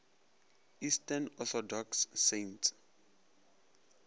eastern orthodox saints